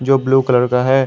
जो blue colour का है।